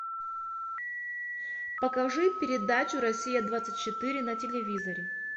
покажи передачу россия двадцать четыре на телевизоре